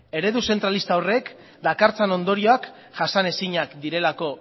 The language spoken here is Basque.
eredu zentralista horrek dakartzan ondorioak jasanezinak direlako